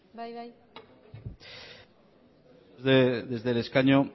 desde el escaño